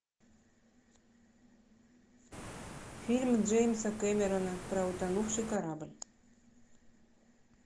фильм джеймса кэмерона про утонувший корабль